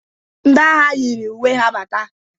Ndị agha yiri uwe ha bata.